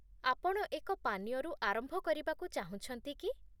ଆପଣ ଏକ ପାନୀୟରୁ ଆରମ୍ଭ କରିବାକୁ ଚାହୁଁଛନ୍ତି କି?